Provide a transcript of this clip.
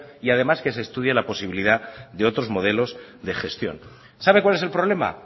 y además que se estudie la posibilidad de otros modelos de gestión sabe cuál es el problema